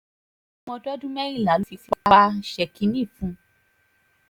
ọmọdọ́dún mẹ́rìnlá